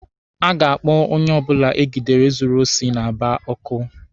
A ga-akpụ onye ọbụla egidere zuru osi n'Aba ọkụ.